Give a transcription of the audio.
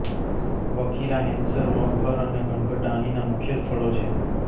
બખીરા હૈંસર મગહર અને ઘનઘટા અહીંના મુખ્ય સ્થળો છે